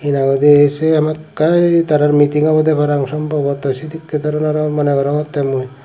henang hoide siyen hamakkai tarar meeting obowde parapang somboto sedekke doronor moneh gorongottey mui.